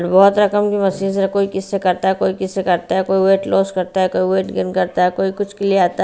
बहुत रकम की मशीन से कोई किसी से करता है कोई किसी से करता है कोई वेट लॉस करता है कोई वेट गेन करता है कोई कुछ के लिए आता है।